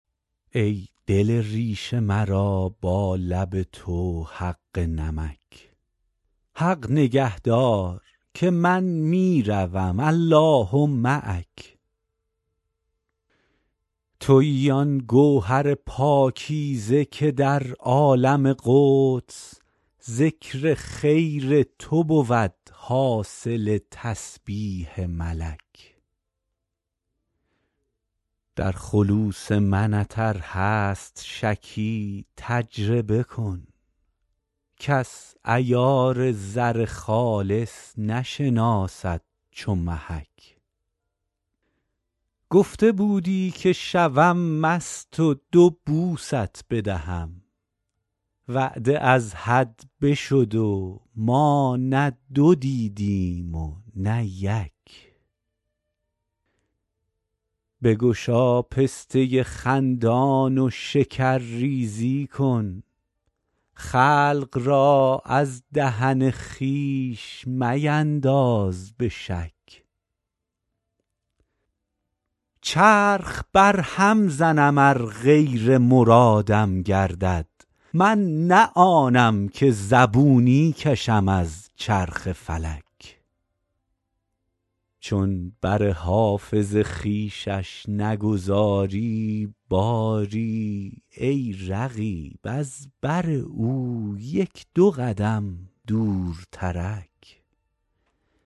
ای دل ریش مرا با لب تو حق نمک حق نگه دار که من می روم الله معک تویی آن گوهر پاکیزه که در عالم قدس ذکر خیر تو بود حاصل تسبیح ملک در خلوص منت ار هست شکی تجربه کن کس عیار زر خالص نشناسد چو محک گفته بودی که شوم مست و دو بوست بدهم وعده از حد بشد و ما نه دو دیدیم و نه یک بگشا پسته خندان و شکرریزی کن خلق را از دهن خویش مینداز به شک چرخ برهم زنم ار غیر مرادم گردد من نه آنم که زبونی کشم از چرخ فلک چون بر حافظ خویشش نگذاری باری ای رقیب از بر او یک دو قدم دورترک